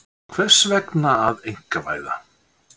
Hvers vegna að einkavæða?